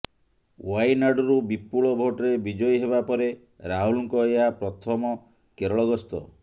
ଓ୍ବାଇନାଡରୁ ବିପୁଳ ଭୋଟରେ ବିଜୟୀ ହେବା ପରେ ରାହୁଲଙ୍କ ଏହା ପ୍ରଥମ କେରଳ ଗସ୍ତ